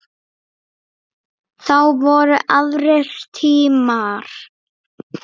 Þá voru aðrir tímar.